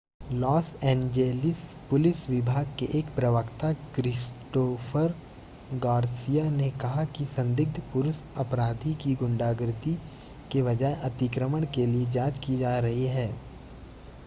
loss Angeles police विभाग के एक प्रवक्ता क्रिस्टोफर गार्सिया ने कहा कि संदिग्ध पुरुष अपराधी की गुंडागिरी के बजाय अतिक्रमण के लिए जांच की जा रही है